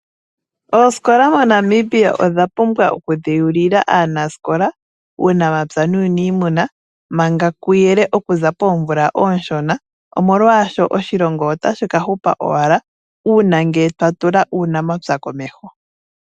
Oosikola mo Namibia odha pumbwa oku dhewulila aanasikola uunamapya nuuniimuna manga kuyele . Okuza poomvula ooshona. Omolwaasho oshilongo otashi ka hupa owala ngele twa tula uunamapya komeho.